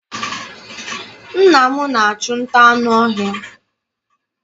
Nna m na-achụ nta anụ ọhịa.